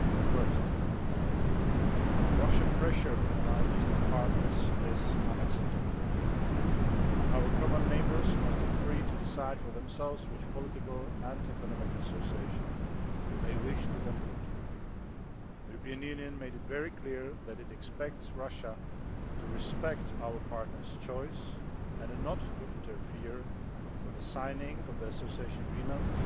First, Russian pressure on our eastern partners is unacceptable. Our common neighbours must be free to decide for themselves which political and economic associations they wish to conclude. The European Union made it very clear that it expects Russia to respect our partners' choices and not to interfere with the signing of association agreements